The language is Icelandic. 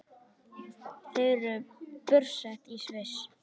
Þau eru búsett í Sviss.